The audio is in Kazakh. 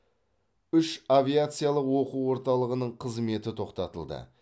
үш авиациялық оқу орталығының қызметі тоқтатылды